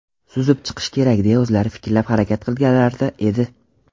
suzib chiqish kerak deya o‘zlari fikrlab harakat qilganlarida edi.